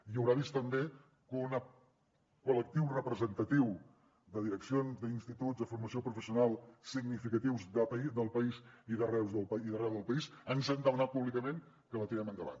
i deu haver vist també que un col·lectiu representatiu de direccions d’instituts de formació professional significatius del país i d’arreu del país ens han demanat públicament que la tirem endavant